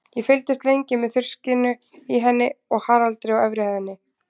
Ég fylgdist lengi með þruskinu í henni og Haraldi á efri hæð.